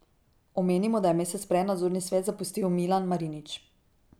Omenimo, da je mesec prej nadzorni svet zapustil Milan Marinič.